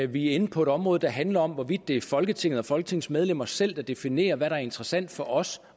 vi er inde på et område der handler om hvorvidt det er folketinget og folketingets medlemmer selv der definerer hvad der er interessant for os